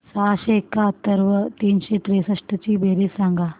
सहाशे एकाहत्तर व तीनशे त्रेसष्ट ची बेरीज सांगा